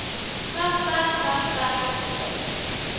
grasperk grasperke slurp